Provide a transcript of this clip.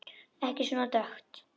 Ekki svona dökkt.